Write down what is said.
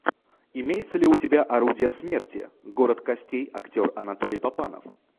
имеется ли у тебя орудие смерти город костей актер анатолий папанов